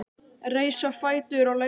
Reis á fætur og leit á klukkuna.